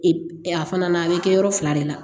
a fana na a bɛ kɛ yɔrɔ fila de la